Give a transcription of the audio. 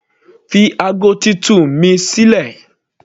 Fi ago titun ni sílẹ̀.